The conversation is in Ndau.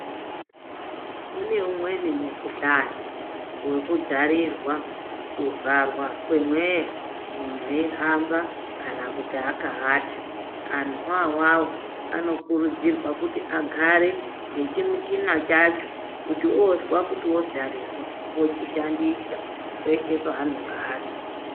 Kune umweni mukhuhlani wokudzarirwa, kuvharwa kwemweya munhu weyihamba kana kuti aka ata antu iwawawo anokurudzirwa kuti agare nechimuchina chacho kuti ozwa kuti ozarirwa ochishandisa peshee paanenge ari.